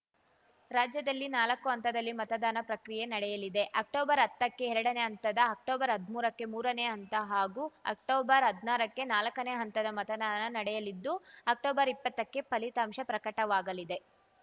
ರಾಜ್ಯದಲ್ಲಿ ನಾಲಕ್ಕು ಹಂತದಲ್ಲಿ ಮತದಾನ ಪ್ರಕ್ರಿಯೆ ನಡೆಯಲಿದೆ ಅಕ್ಟೊಬರ್ಹತ್ತಕ್ಕೆ ಎರಡನೇ ಹಂತದ ಅಕ್ಟೊಬರ್ಹದ್ಮೂರಕ್ಕೆ ಮೂರನೇ ಹಂತ ಹಾಗೂ ಅಕ್ಟೊಬರ್ಹದ್ನಾರಕ್ಕೆ ನಾಲ್ಕನೇ ಹಂತದ ಮತದಾನ ನಡೆಯಲಿದ್ದು ಅಕ್ಟೊಬರ್ಇಪ್ಪತ್ತಕ್ಕೆ ಫಲಿತಾಂಶ ಪ್ರಕಟವಾಗಲಿದೆ